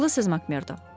Haqlısız Makmerdo.